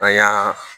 An y'a